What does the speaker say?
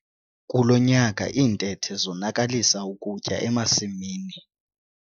Kulo nyaka iintethe zonakalisa ukutya emasimini.